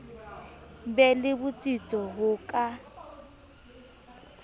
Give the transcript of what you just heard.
be le botsitso ho ka